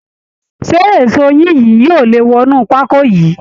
Ṣé eṣó yín yìí yóò lè wọnú pákó yìí